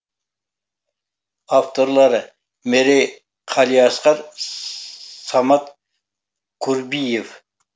авторлары мерей қалиасқар сссамат курбиев